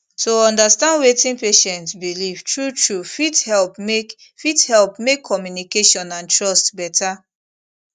to understand wetin patient believe truetrue fit help make fit help make communication and trust better